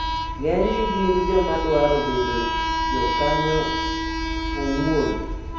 Ng'enygi gin joma dwaro bedo jokanyo owuon.